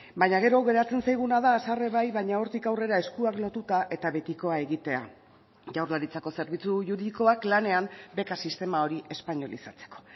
baina gero geratzen zaiguna da haserre bai baina hortik aurrera eskuak lotuta eta betikoa egitea jaurlaritzako zerbitzu juridikoak lanean beka sistema hori espainolizatzeko